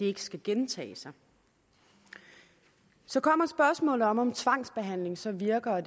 ikke skal gentage sig så kommer spørgsmålet om om tvangsbehandling så virker og